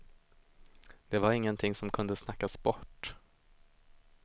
Det var ingenting som kunde snackas bort.